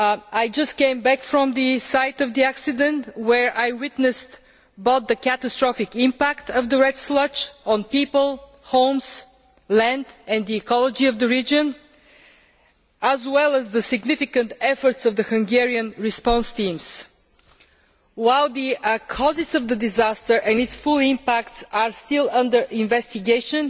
I have just come back from the site of the accident where I witnessed both the catastrophic impact of the red sludge on people, homes, land and the ecology of the region, and the significant efforts of the Hungarian response teams. While the causes of the disaster and its full impact are still under investigation,